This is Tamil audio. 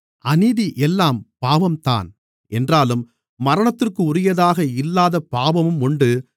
அநீதி எல்லாம் பாவம்தான் என்றாலும் மரணத்திற்குரியதாக இல்லாத பாவமும் உண்டு